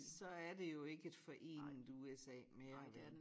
Så er det jo ikke et forenet USA mere vel